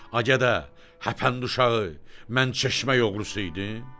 A gədə, həpən uşağı, mən çeşmə oğrusu idim?